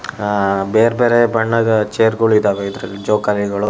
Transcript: ಹಾ ಬೇರ್ ಬೇರೆ ಬಣ್ಣದ ಚೇರ್ಗಳು ಇದ್ದಾವೆ ಜೋಕಾಲಿಗಳು --